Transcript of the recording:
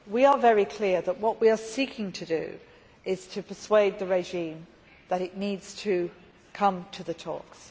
We are very clear that what we are seeking to do is to persuade the regime that it needs to come to the talks.